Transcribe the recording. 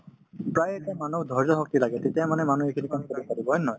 প্ৰায়ে এটা মানুহক ধৈৰ্য্য শক্তি লাগে তেতিয়াহে মানে মানুহে খেলিব হয় নে নহয়